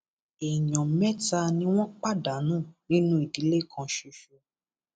èèyàn mẹta ni wọn pàdánù nínú ìdílé kan ṣoṣo